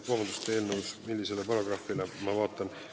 Vabandust, millisele paragrahvile?